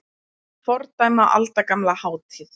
Fordæma aldagamla hátíð